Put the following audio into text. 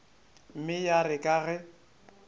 mme ya re ka ge